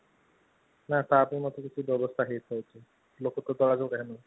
ନା ତା ପାଇଁ କିଛି ବ୍ୟବସ୍ଥା ହେଇ ପାରୁଛି ଲୋକ